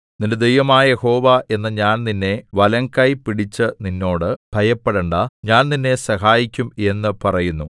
നിന്റെ ദൈവമായ യഹോവ എന്ന ഞാൻ നിന്റെ വലംകൈ പിടിച്ചു നിന്നോട് ഭയപ്പെടേണ്ടാ ഞാൻ നിന്നെ സഹായിക്കും എന്നു പറയുന്നു